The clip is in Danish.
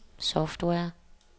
software